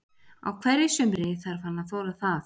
Á hverju sumri þarf hann að þola það.